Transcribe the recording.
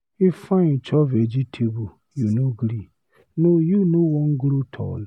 Ifeanyi chop vegetable, you no gree, no you no Wan grow tall.